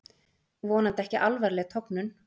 Vonandi ekki alvarleg tognun